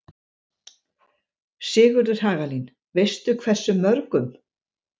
Sigríður Hagalín: Veistu hversu mörgum?